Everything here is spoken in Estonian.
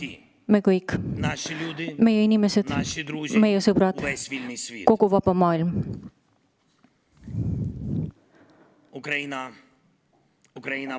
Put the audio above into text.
Meie kõik: meie inimesed, meie sõbrad, kogu vaba maailm.